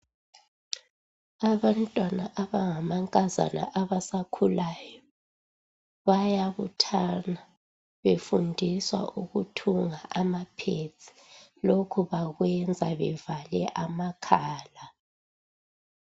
Abantwana abangamankazana abasakhulayo bayabuthana befundiswa ukuthunga amaphedi . Lokhu bakwenza bevale amakhala.